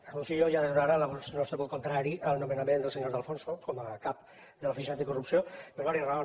anuncio ja des d’ara el nostre vot contrari al nomenament del senyor de alfonso com a cap de l’oficina anticorrupció per diverses raons